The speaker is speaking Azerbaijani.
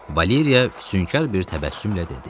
Valeriya füsunkar bir təbəssümlə dedi: